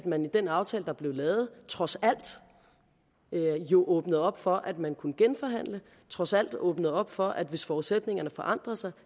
man i den aftale der blev lavet trods alt åbnede op for at man kunne genforhandle trods alt åbnede op for at man hvis forudsætningerne forandrede sig